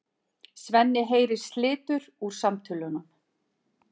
Svenni heyrir slitur úr samtölunum.